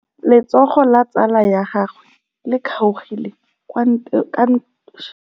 Letsôgô la tsala ya gagwe le kgaogile kwa ntweng ya masole.